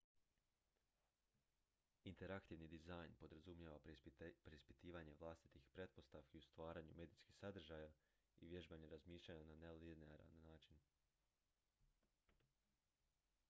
interaktivni dizajn podrazumijeva preispitivanje vlastitih pretpostavki o stvaranju medijskih sadržaja i vježbanje razmišljanja na nelinearan način